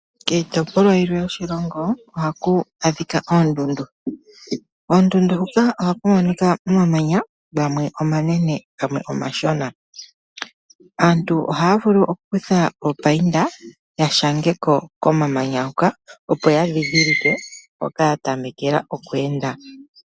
Kiitopolwa yilwe yoshilongo ohaku adhika oondundu. Koondundu huka ohaku monika omamanya gamwe omanene gamwe omashona, aantu ohaya vulu oku kutha oopayinda ya shangeko komamanya huka opo ya dhidhilike mpoka ya tamekela oku enda.